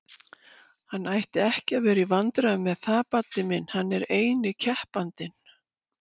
Hann ætti ekki að vera í vandræðum með það Baddi minn, hann er eini keppandinn!